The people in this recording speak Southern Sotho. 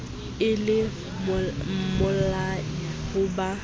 e le mmolai ho ka